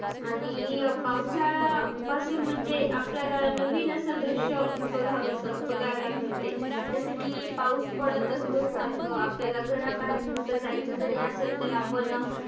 आणि पावसाळा पासुन म्हणजे आपल्याला नविन असं दृष्य बघावसं बघायला मिळते. जसं की पाऊस पडत असतो सारख आपल्याला घरा बाहेर कुठ जायच जरी असलं तर आपण